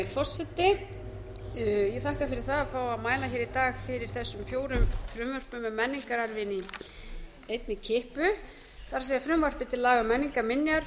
mæla hér í dag fyrir þessum fjórum frumvörpum um menningararfinn í einni kippu það er frumvarpið til laga um menningarminjar frumvarpið til